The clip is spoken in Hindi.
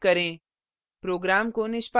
save सेव पर click करें